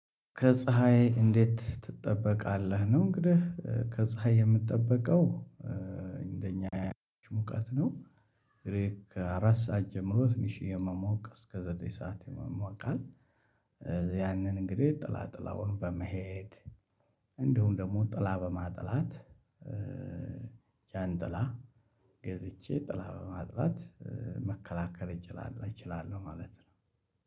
ከፀሀይ እንዴት ትጠበቃለህ? ነው እንግዲህ ከፀሀይ የምጠበቀው እንደኛ ሙቀት ነው። እንግዲህ ከአራት ሰዓት ጀምሮ ትንሽ የሞመቅ እስከ ዘጠኝ ሰዓት ይሟሟቃል። ያንን እንግዲህ ጥላ ጥላውን በመሄድ እንዲሁም ደግሞ ጥላ በማጥላት ጃንጥላ ገዝቼ ጥላ በማጥላት መከላከል እችላለሁ። ማለት ነው።